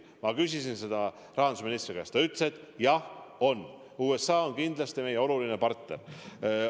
Ma küsisin seda rahandusministri käest, ta ütles, et jah on, USA on kindlasti meie oluline partner.